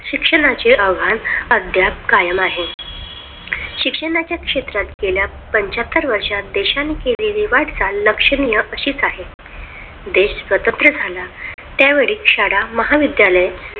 शिक्षणाचे आव्हान अद्याप कायम आहे. शिक्षणाच्या क्षेत्रात गेल्या पांच्याहत्तर वर्षात देशाने केलेली वाटचाल लक्षणीय अशीच आहे देश स्वतंत्र झाला त्यावेळी शाळा महाविद्यालय,